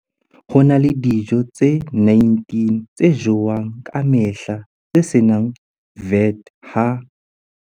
Ho na le dijo tse 19 tse jowang ka mehla tse se nang VAT ha.